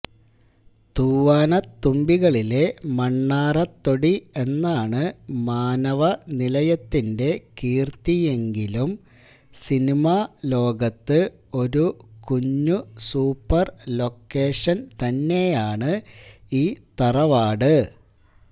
തൂവാനത്തുമ്പികളിലെ മണ്ണാറത്തൊടി എന്നാണ് മാനവനിലയത്തിന്റെ കീർത്തിയെങ്കിലും സിനിമാലോകത്ത് ഒരു കുഞ്ഞുസൂപ്പർ ലൊക്കേഷൻ തന്നെയാണ് ഈ തറവാട്